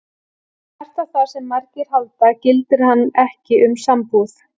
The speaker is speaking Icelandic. Þvert á það sem margir halda gildir hann ekki um sambúð.